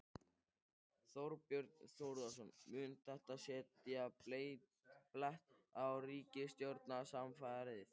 Þorbjörn Þórðarson: Mun þetta setja blett á ríkisstjórnarsamstarfið?